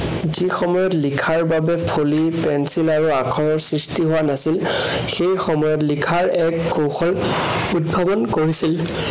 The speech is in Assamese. যি সময়ত লিখাৰ বাবে ফলি pencil আৰু আখৰৰ সৃষ্টি হোৱা নাছিল। সেই সময়ত লিখাৰ এক কৌশল উদ্ভাৱন কৰিছিল।